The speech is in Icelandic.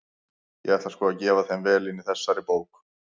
Ég ætla sko að gefa þeim vel inn í þessari bók!